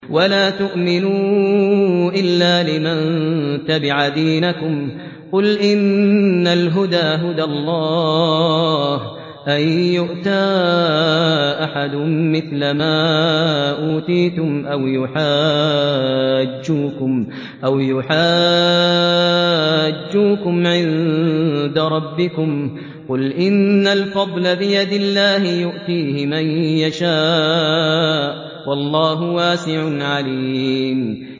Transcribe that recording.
وَلَا تُؤْمِنُوا إِلَّا لِمَن تَبِعَ دِينَكُمْ قُلْ إِنَّ الْهُدَىٰ هُدَى اللَّهِ أَن يُؤْتَىٰ أَحَدٌ مِّثْلَ مَا أُوتِيتُمْ أَوْ يُحَاجُّوكُمْ عِندَ رَبِّكُمْ ۗ قُلْ إِنَّ الْفَضْلَ بِيَدِ اللَّهِ يُؤْتِيهِ مَن يَشَاءُ ۗ وَاللَّهُ وَاسِعٌ عَلِيمٌ